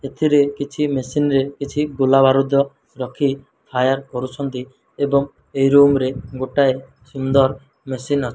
ଏଥିରେ କିଛି ମେସିନ୍ ରେ କିଛି ଗୁଲା ବାରୁଦ ରଖି ଫାୟାର କରୁଛନ୍ତି ଏବଂ ଏହି ରୁମ୍ ରେ ଗୋଟାଏ ସୁନ୍ଦର୍ ମେସିନ୍ ଅଛି।